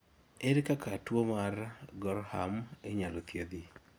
ere kaka tuwo mar gorham inyalo thiedh?